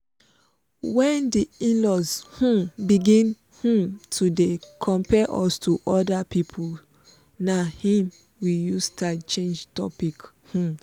when the in-laws um begin um to dey compare us to other people na im we use style change topic um